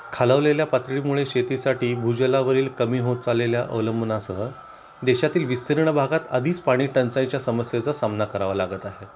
खालावलेल्या पातळीमुळे शेती साठी भूजलावरील कमी होत चाललेल्या अवलंबूनासह देशातील विस्तीर्ण भागात आधीच पाणीटंचाईच्या समस्येचा सामना करावा लागत आहे